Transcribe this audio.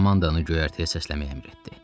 Komandanı göyərtəyə səsləmək əmr etdi.